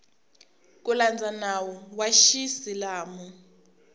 ku landza nawu wa xiisilamu